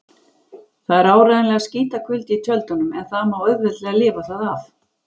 Það er áreiðanlega skítakuldi í tjöldunum en það má auðveldlega lifa það af.